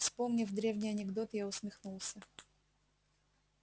вспомнив древний анекдот я усмехнулся